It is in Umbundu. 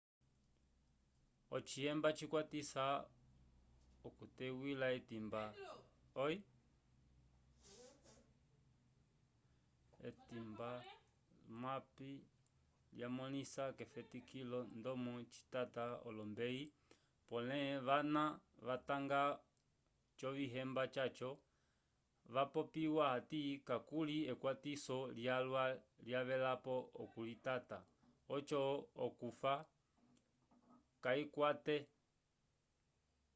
ocihemba cikwatisa okuteywila etimba zmapp lyamõlisa k'efetikilo ndomo citata olombeyi pole vana vatanga ocihemba caco vapopya hati kakuli ekwatiso lyalwa livelapo okulitata oco okufa kayikukwate